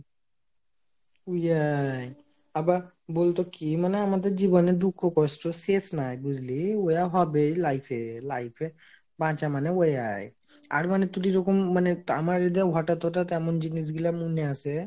অ্যাই আবার বলতো কি মানে আমাদের জীবনে দুঃখ কষ্টর শেষ নাই বুঝলি, ওয়াই হবে life এ life এ বাঁচা মানে ওয়াই হয় আর মানে যখন মানে আমার মানে এইদে হটাৎ হটাৎ এমন জিনিসগুলা মনে আসে,